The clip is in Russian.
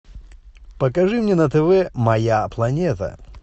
покажи мне на тв моя планета